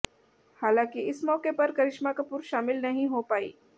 हालांकि इस मौके पर करिश्मा कपूर शामिल नहीं हो पाईं